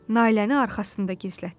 Nailəni arxasında gizlətdi.